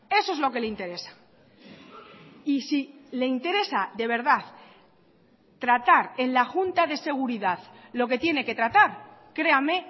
eso es lo que le interesa y si le interesa de verdad tratar en la junta de seguridad lo que tiene que tratar créame